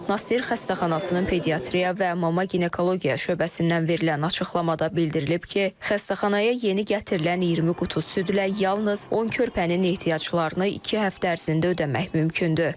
Nasser xəstəxanasının pediatriya və mama-ginekologiya şöbəsindən verilən açıqlamada bildirilib ki, xəstəxanaya yeni gətirilən 20 qutu südlə yalnız 10 körpənin ehtiyaclarını iki həftə ərzində ödəmək mümkündür.